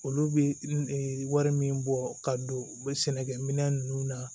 Olu bɛ wari min bɔ ka don u bɛ sɛnɛkɛ minɛn ninnu na